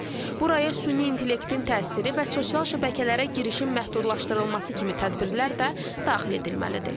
Buraya süni intellektin təsiri və sosial şəbəkələrə girişin məhdudlaşdırılması kimi tədbirlər də daxil edilməlidir.